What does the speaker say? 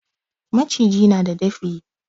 Maciji na da dafi.